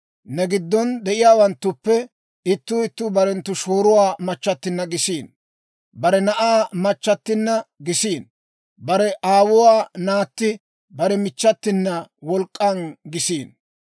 Ne giddon de'iyaawanttuppe ittuu ittuu bare shooruwaa machchattinna gisiino; bare na'aa machchattinna gisiino; bare aawuwaa naatti, bare michchatina wolk'k'an gisiino.